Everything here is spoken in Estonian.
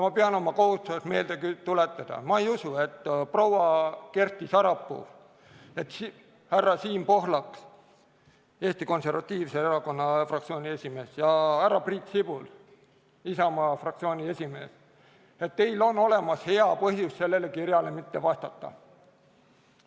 Ma pean oma kohustuseks meelde tuletada, ma ei usu, et teil, proua Kersti Sarapuu, härra Siim Pohlak, Eesti Konservatiivse Erakonna fraktsiooni esimees, ja härra Priit Sibul, Isamaa fraktsiooni esimees, on olemas hea põhjus, miks sellele kirjale mitte vastata.